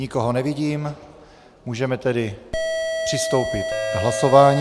Nikoho nevidím, můžeme tedy přistoupit k hlasování.